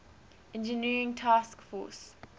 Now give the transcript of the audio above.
engineering task force